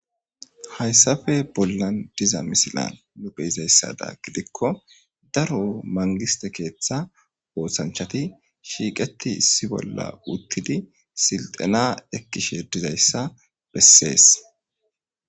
Haysape bolan de'iza misilen nuni be'izasato giddiko daro mangiste keetha oosanchati shiiqethi issi bola uthidi issipe siltena ekishe dizaysa beses.